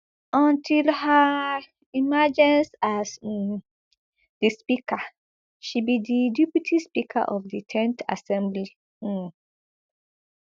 until her emergence as um di speaker she be di deputy speaker of di ten th assembly um